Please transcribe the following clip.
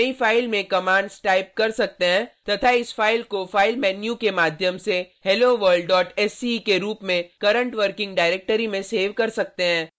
आप नयी फाइल में कमांड्स टाइप कर सकते हैं तथा इस फाइल को फाइल मेन्यू के माध्यम से helloworldsce के रूप में करंट वर्किंग डायरेक्टरी में सेव कर सकते हैं